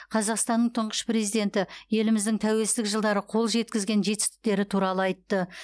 қазақстанның тұңғыш президенті еліміздің тәуелсіздік жылдары қол жеткізген жетістіктері туралы айтты